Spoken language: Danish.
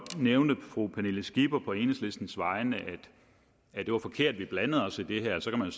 nævnte fru pernille skipper på enhedslistens vegne at det var forkert at vi blandede os i det her så kan man